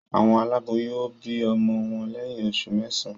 Awon aláboyún o bi ọmọ wọn lẹyìn oṣù mẹsan